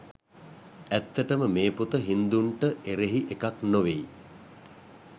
ඇත්තටම මේ පොත හින්දුන්ට එරෙහි එකක් නොවෙයි.